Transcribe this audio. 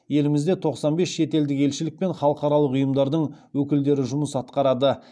елімізде тоқсан бес шетелдік елшілік пен халықаралық ұйымдардың өкілдері жұмыс атқарады